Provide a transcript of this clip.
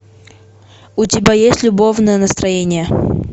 у тебя есть любовное настроение